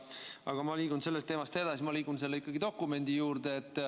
Aga ma liigun sellest teemast edasi, ma liigun selle dokumendi juurde.